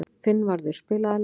Finnvarður, spilaðu lag.